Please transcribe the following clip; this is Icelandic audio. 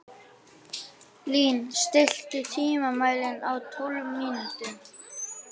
Lín, stilltu tímamælinn á tólf mínútur.